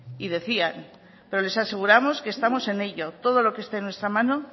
y decían pero les aseguramos que estamos en ello todo lo que esté en nuestra mano